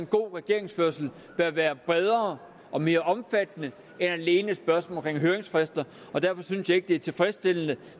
god regeringsførelse bør være bredere og mere omfattende end alene spørgsmålet om høringsfrister og derfor synes jeg ikke at det er tilfredsstillende